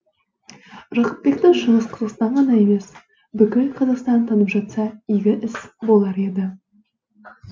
жақыпбекті шығыс қазақстан ғана емес бүкіл қазақстан танып жатса игі іс болар еді